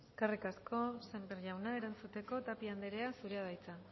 eskerrik asko sémper jauna erantzuteko tapia andrea zurea da hitza